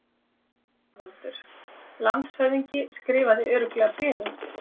ÞORVALDUR: Landshöfðingi skrifaði örugglega bréfið?